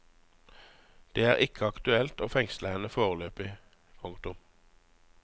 Det er ikke aktuelt å fengsle henne foreløpig. punktum